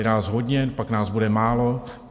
Je nás hodně, pak nás bude málo...